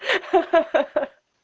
ха-ха-хаха